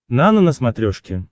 нано на смотрешке